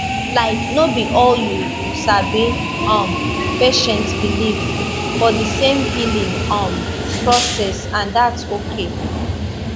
laik no bi all you sabi um patients believe for di same healing um process and thats okay